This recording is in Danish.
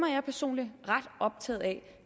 jeg personligt ret optaget af